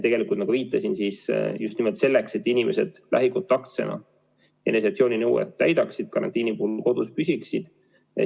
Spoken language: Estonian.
Tegelikult, nagu viitasin, just nimelt selleks, et inimesed lähikontaktsena eneseisolatsiooni nõuet täidaksid, karantiini puhul kodus püsiksid.